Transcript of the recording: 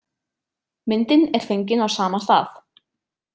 Myndin er fengin á sama stað.